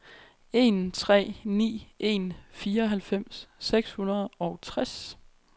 en tre ni en fireoghalvfems seks hundrede og tres